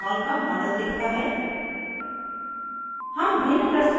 panel पर phenol का model दिखता है